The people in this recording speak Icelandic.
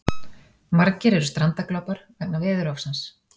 Margir eru strandaglópar vegna veðurofsans